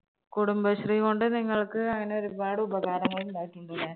കുടുംബശ്രീ കൊണ്ട് നിങ്ങൾക്ക് അങ്ങനെ ഒരുപാട് ഉപകാരങ്ങൾ ഇണ്ടായിട്ടുണ്ട് ല്ലേ